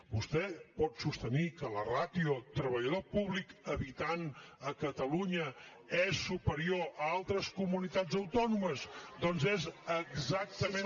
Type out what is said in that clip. vostè pot sostenir que la ràtio treballador públic habitant a catalunya és superior a altres comunitats autònomes doncs és exactament